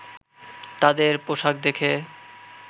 তাদের পোশাক দেখে